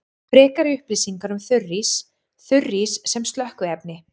Frekari upplýsingar um þurrís: Þurrís sem slökkviefni.